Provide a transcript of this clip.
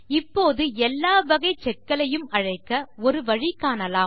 இப்போது எல்லா வகை செக் களையும் அழைக்க ஒரு வழி காணலாம்